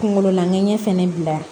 Kunkolo lankɛnɲɛ fɛnɛ bila